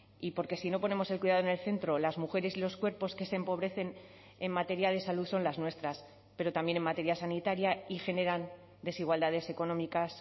y porque si no ponemos el cuidado en el centro las mujeres y los cuerpos que se empobrecen en materia de salud son las nuestras pero también en materia sanitaria y generan desigualdades económicas